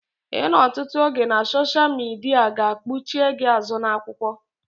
Ịnọ ọtụtụ oge na soshia midia ga kpuchie gị azụ na-akwụkwọ